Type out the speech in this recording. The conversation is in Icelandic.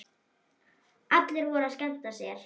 Allir voru að skemmta sér.